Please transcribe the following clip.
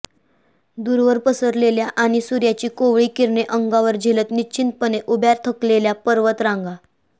दूरवर पसरलेल्या आणि सूर्याची कोवळी किरणे अंगावर झेलत निश्चिंतपणे उभ्या थकलेल्या पर्वत रांगा